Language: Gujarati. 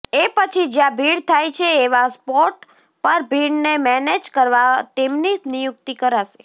એ પછી જ્યા ભીડ થાય છે એવા સ્પોટ પર ભીડને મેનેજ કરવા તેમની નિયુક્તી કરાશે